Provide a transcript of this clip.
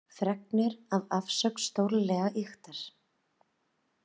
Fregnir af afsögn stórlega ýktar